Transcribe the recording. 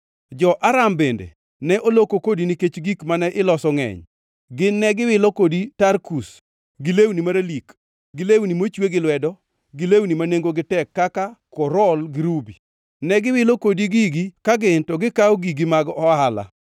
“ ‘Jo-Aram bende ne oloko kodi nikech gik mane iloso mangʼeny. Gin ne giwilo kodi tarkus, gi lewni maralik, gi lewni mochwe gi lwedo, gi lewni ma nengogi tek kaka korol gi rubi. Ne giwilo kodi gigi ka gin to gikawo gigi mag ohala.